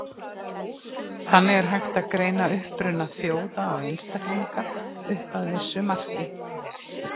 Þannig er hægt að greina uppruna þjóða og einstaklinga, upp að vissu marki.